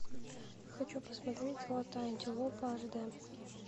хочу посмотреть золотая антилопа аш дэ